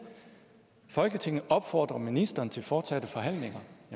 folketinget opfordrer ministeren til fortsatte forhandlinger